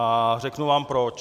A řeknu vám proč.